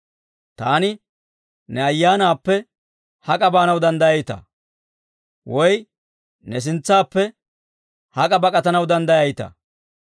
Taani ne Ayaanappe hak'a baanaw danddayayitaa? Woy ne sintsaappe hak'a bak'atanaw danddayayitaa?